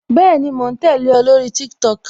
Bẹẹni, mo ń tẹle o, lórí TikTok